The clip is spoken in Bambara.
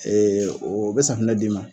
Ee o be safinɛ d'i ma